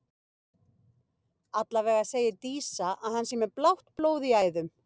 Allavega segir Dísa að hann sé með blátt blóð í æðum.